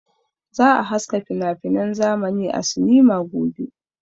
Za a haska finafinan zamani a sinima gobe.